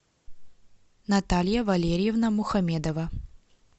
наталья валерьевна мухамедова